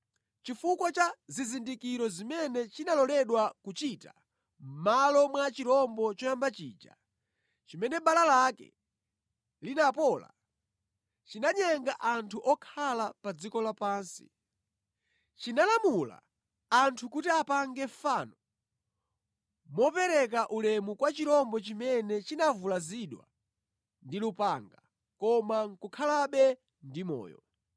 Chifukwa cha zizindikiro zimene chinaloledwa kuchita mʼmalo mwa chirombo choyamba chija, chimene bala lake linapola, chinanyenga anthu okhala pa dziko lapansi. Chinalamula anthu kuti apange fano mopereka ulemu kwa chirombo chimene chinavulazidwa ndi lupanga, koma nʼkukhalabe ndi moyo.